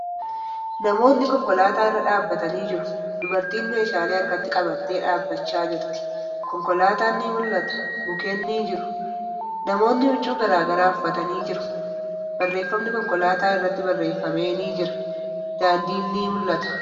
Namootni konkolaataa irra dhaabbatanii jiru. Dubartiin meeshaalee harkatti qabattee dhaabbachaa jirti. Konkolaatan ni mul'ata. Mukkeen ni jiru. Namootni huccuu garagaraa uffatanii jiru. Barreeffamni konkolaataa irratti barreeffamee ni jira. Daandin ni mul'ata.